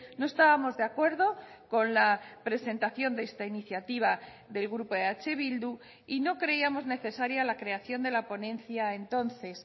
no estábamos de acuerdo con la presentación de esta iniciativa del grupo eh bildu y no creíamos necesaria la creación de la ponencia entonces